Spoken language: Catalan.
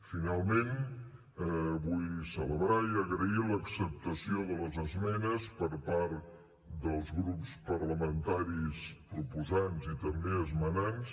finalment vull celebrar i agrair l’acceptació de les esmenes per part dels grups parlamentaris proposants i també esmenants